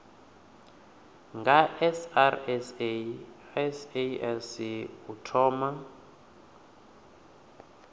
nga srsa sasc u thoma